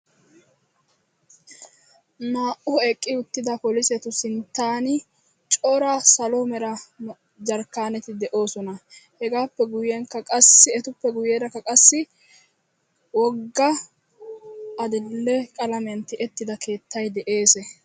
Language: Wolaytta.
naa"u eqqidaa polisetu sinttani corra salo merra jarkkanetti doossona qassi ettappekka guyessara lo"iya keetaykka de"eesi.